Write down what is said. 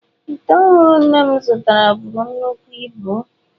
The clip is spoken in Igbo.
Ite ọhụrụ nne m zụtara buru nnukwu ibu.